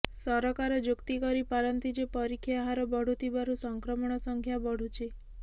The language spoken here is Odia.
ସରକାର ଯୁକ୍ତି କରିପାରନ୍ତି ଯେ ପରୀକ୍ଷା ହାର ବଢ଼ୁଥିବାରୁ ସଂକ୍ରମଣ ସଂଖ୍ୟା ବଢ଼ୁଛି